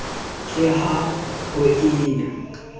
ka ha ho e na